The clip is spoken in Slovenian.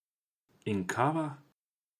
In kava?